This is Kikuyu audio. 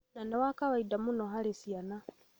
na nĩ wa kawaida mũno harĩ ciana,